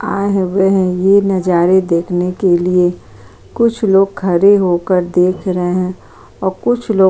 आ वह ये नज़ारे देखने के लिए कुछ लोग खड़े होकर देख रहे और कुछ लोग --